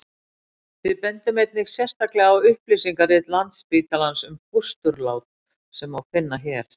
við bendum einnig sérstaklega á upplýsingarit landsspítalans um fósturlát sem má finna hér